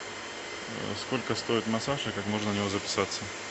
сколько стоит массаж и как можно на него записаться